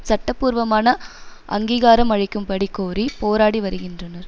சட்டபூர்வமான அங்கீகாரம் அளிக்கும்படி கோரி போராடி வருகின்றனர்